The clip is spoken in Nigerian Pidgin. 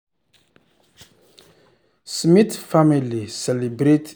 smith family celebrate their one-year savings goal with weekend flex for beach.